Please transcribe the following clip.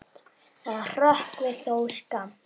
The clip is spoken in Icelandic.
Það hrökkvi þó skammt.